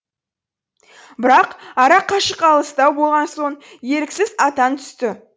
бірақ арақашық алыстау болған соң еріксіз аттан түсті